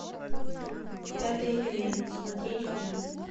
пятый элемент смотреть фильм